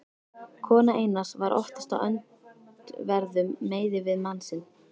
Kona Einars var oftast á öndverðum meiði við mann sinn.